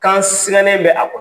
Kan sinɛnne bɛ a